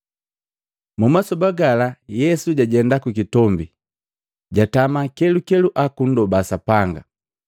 Mmasoba gala Yesu jajenda kukitombi, jatama kelukelu akundoba Sapanga.